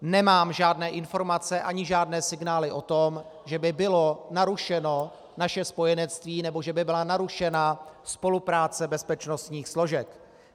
Nemám žádné informace ani žádné signály o tom, že by bylo narušeno naše spojenectví nebo že by byla narušena spolupráce bezpečnostních složek.